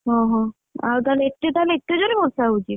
ଓହୋ ଆଉ ତାହେଲେ, ଏଠି ତାହେଲେ ଏତେ ଜୋରେ ବର୍ଷା ହଉଛି?